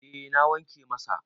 eh na wanke masa